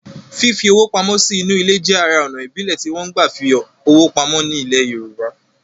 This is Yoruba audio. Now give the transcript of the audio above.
Fífi owó pamọ́ sí inú ilẹ̀ jẹ́ ara ònà ìbílẹ̀ tí wọ́n gbà fi owó pamọ́ ní ilẹ̀ yorùbá